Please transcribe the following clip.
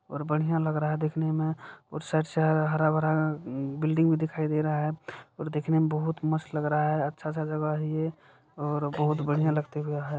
और बढ़िया लग रहा है देखने में और साइड से हरा-भरा बिल्डिंग भी दिखाई दे रहा है और दिखने में बहोत मस्त लग रहा है अच्छा सा जगह है ये और बहोत बढ़िया लगता हुआ है।